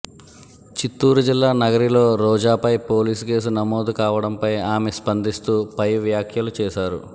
చిత్తూరు జిల్లా నగరిలో రోజాపై పోలీస్ కేసు నమోదు కావడంపై ఆమె స్పందిస్తూ పై వ్యాఖ్యలు చేశారు